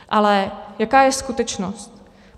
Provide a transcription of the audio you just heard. Ale jaká je skutečnost?